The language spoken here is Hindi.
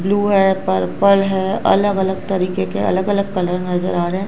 ब्लू है पर्पल है अलग अलग तरीके के अलग अलग कलर नजर आ रहे हैं।